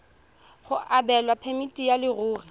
go abelwa phemiti ya leruri